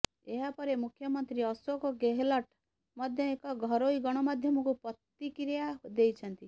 ଏହାପରେ ମୁଖ୍ୟମନ୍ତ୍ରୀ ଅଶୋକ ଗେହଲଟ ମଧ୍ୟ ଏକ ଘରୋଇ ଗଣମାଧ୍ୟମକୁ ପ୍ରତିକ୍ରିୟା ଦେଇଛନ୍ତି